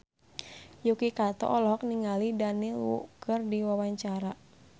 Yuki Kato olohok ningali Daniel Wu keur diwawancara